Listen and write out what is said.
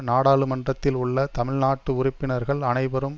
நாடாளுமன்றத்தில் உள்ள தமிழ் நாட்டு உறுப்பினர்கள் அனைவரும்